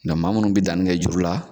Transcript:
Nga maa munnu bi danni kɛ juru la